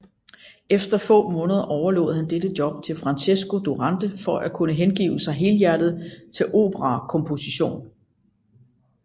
Efter få måneder overlod han dette job til Francesco Durante for at kunne hengive sig helhjertet til operakomposition